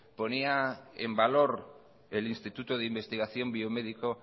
ponía en valor el instituto de investigación biomédico